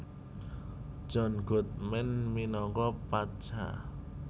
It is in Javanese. John Goodman minangka Pacha